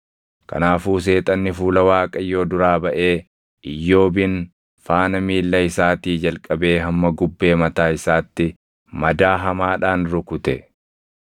Kanaafuu Seexanni fuula Waaqayyoo duraa baʼee Iyyoobin faana miilla isaatii jalqabee hamma gubbee mataa isaatti madaa hamaadhaan rukute.